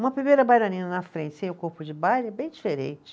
Uma primeira bailarina na frente sem o corpo de baile é bem diferente.